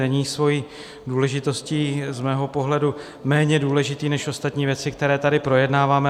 Není svou důležitostí z mého pohledu méně důležitý než ostatní věci, které tady projednáváme.